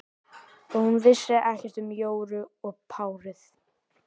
Og hún vissi ekkert um Jóru og párið.